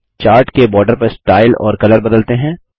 chart के border का style और कलर बदलते हैं